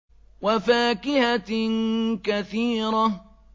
وَفَاكِهَةٍ كَثِيرَةٍ